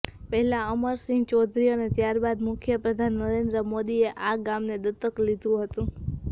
પહેલા અમરસિંહ ચૌધરી અને ત્યારબાદ મુખ્યપ્રધાન નરેન્દ્ર મોદીએ આ ગામને દત્તક લીધુ હતું